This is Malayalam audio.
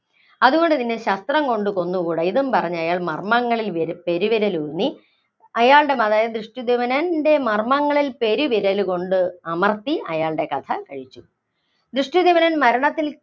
അതുകൊണ്ട് നിന്നെ ശസ്ത്രം കൊണ്ട് കൊന്നുകൂടാ. ഇതും പറഞ്ഞ് അയാള്‍ മര്‍മ്മങ്ങളില്‍ പെരുവിരലൂന്നി അയാളുടെ അതായത് ദൃഷ്ടധ്യുമ്നന്‍റെ മര്‍മ്മങ്ങളില്‍ പെരുവിരലുകൊണ്ട് അമര്‍ത്തി അയാളുടെ കഥകഴിച്ചു. ദൃഷ്ടധ്യുമ്നൻ മരണത്തില്‍